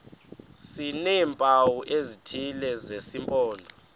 sineempawu ezithile zesimpondo